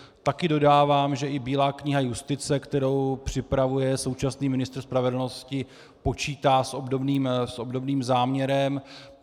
Taky dodávám, že i Bílá kniha justice, kterou připravuje současný ministr spravedlnosti, počítá s obdobným záměrem.